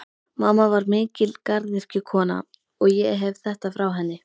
Mamma var mikil garðyrkjukona, og ég hef þetta frá henni.